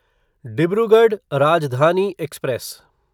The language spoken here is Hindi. डिब्रूगढ़ राजधानी एक्सप्रेस